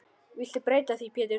Viltu breyta því Pétur.